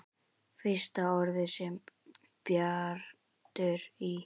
Fyrsta orðið sem Bjartur í